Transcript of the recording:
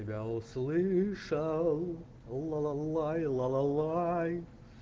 я тебя услышал лалалай лалалай